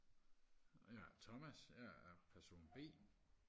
Og jeg er Thomas og jeg er person b